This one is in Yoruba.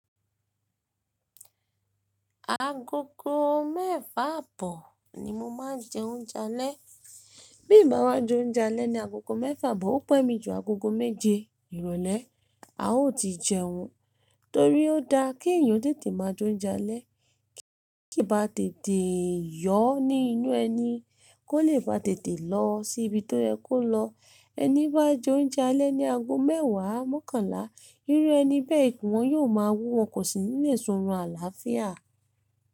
Agogo mẹ́fà àbọ̀ ni mo máa ń jẹ oúnjẹ alẹ́. Bí m̀bá wá jẹ oúnjẹ alẹ́ ní agogo mẹ́fà àbọ̀, ó pẹ́ mi ju agogo méje ìrólé. A ó ti jẹun torí ó da kí èèyàn tètè máa jẹ oúnjẹ alẹ́, kí ó ba tètè yọ ní inú ẹni kó lè ba tètè lọ sí ibi tó yẹ kó lọ. Ẹni bá jẹ oúnjẹ alẹ́ ní ago mẹ́wàá, mọ́kànlá, irú ẹni bẹ́ẹ̀ ikùn wọn yóò máa wúwo, kò sì ní lè ṣọ́run àlàáfíà.